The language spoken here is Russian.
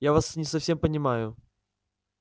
я вас не совсем понимаю